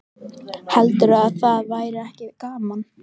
Heldurðu að það væri ekki gaman?